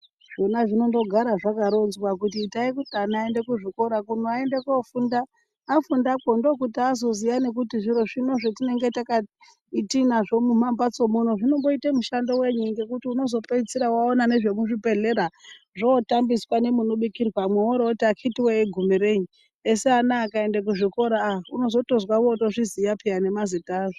Zvona zvinondogara zvakaronzwa kuti itai kuti ana aende kuzvikora kuno aende kofunda afundakwo ndokuti azoziya nekuti zviro zvino zvatinenge tinazvo mumambatso munomu zvinomboite mushando wei ngekuti unozopedzisira waona nemuzvibhedhlera zvootambiswa nemunobikirwa worooti akiti wee igumo reyi esi ana akaenda kuzvikora aa unozonzwa ozviziya nemazita azvo.